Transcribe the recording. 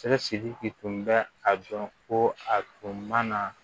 Sɛgɛ sidiki tun bɛ a dɔn ko a tun ma na